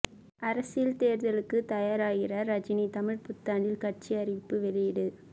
அரசியல் தேர்தலுக்கு தயாராகிறார் ரஜினி தமிழ் புத்தாண்டில் கட்சி அறிவிப்பு வெளியீடு